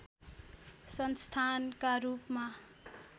संस्थानका रूपमा